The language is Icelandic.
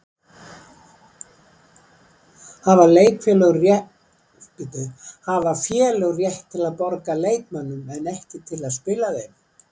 Hafa félög rétt til að borga leikmönnum en ekki til að spila þeim?